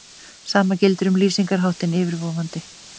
Sama gildir um lýsingarháttinn yfirvofandi.